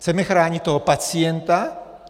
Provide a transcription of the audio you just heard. Chceme chránit toho pacienta?